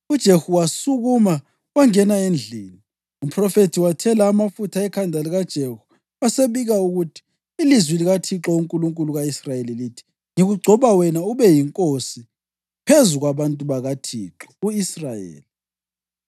UJehu wasukuma wangena endlini. Umphrofethi wathela amafutha ekhanda likaJehu wasebika ukuthi, “Ilizwi likaThixo uNkulunkulu ka-Israyeli lithi: ‘Ngigcoba wena ukuba ube yinkosi phezu kwabantu bakaThixo, u-Israyeli.